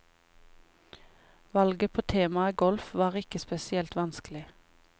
Valget på temaet golf var ikke spesielt vanskelig.